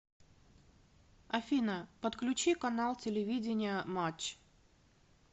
афина подключи канал телевидения матч